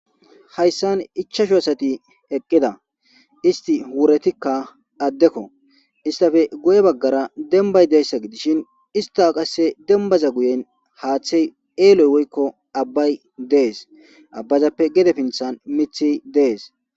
Hayissani ichashu assati eqizda, isit urratikka addeko. Istape guye baggara demibyi dishini isita demibaza guyen hathayi eloyi wiyiko abayi desi abazape gede pinthani muthi desi